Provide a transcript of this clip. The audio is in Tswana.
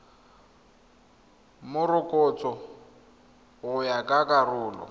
morokotso go ya ka karolo